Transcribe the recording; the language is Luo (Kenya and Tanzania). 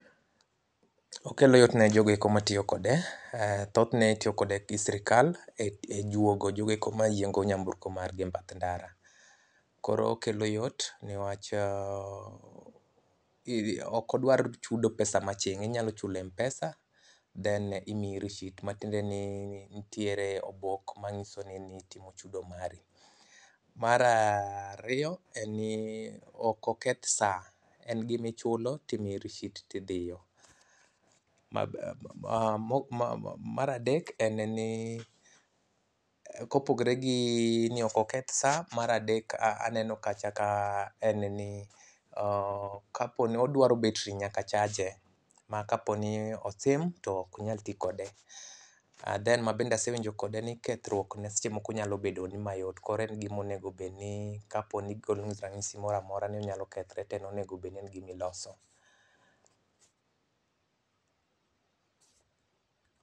Okelo yot ne jogo eko ma tiyo kode. Thothne itiyo kode gi sirkal e juogo jogo eko mayiengo nyamburko margi e bath ndara. Koro okelo yot ne wach ok odwar chudo pesa ma aching' inyalo chulo e mpesa then imiyi rishit matiende ni nitiere obok mang'iso ni nitimo chudo mari. Mar ariyo en ni ok oketh sa. En gimichulo timiyi rishit tidiyo. mar adek en ni kopogore gi ni ok oketh sa mar adek aneno kacha ka en ni odwaro betri nyaka chaje. Ma kapo ni osim tokunyal ti kode. And then mabende asewinjo kode ni kethruokne seche moko nyalo bedo ni mayot koro en gimonego bedni kapo ni ogolo ni ranyisi moroamora ni onyalo kethro to en onegobedni en gimiloso.